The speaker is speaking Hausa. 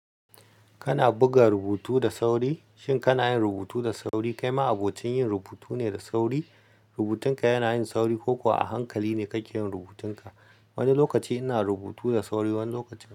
Kana buga rubutu da sauri? Shin kana yin rubutu da sauri? Kai ma abokin yin rubutu ne da sauri? Rubutunka yana yin sauri ko kuwa a hankali ne kake yin rubutunka? Wani lokaci ina rubutu da sauri, wani lokaci.